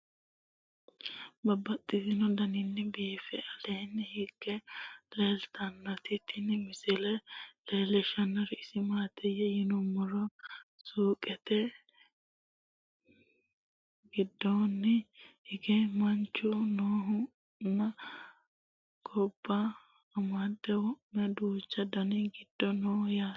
Babaxxittinno daninni biiffe aleenni hige leelittannotti tinni misile lelishshanori isi maattiya yinummoro suuqqette giddonni hige manchu noohu nna gobba madaabaratte wo'mu duuchu dani gidi noo yaatte.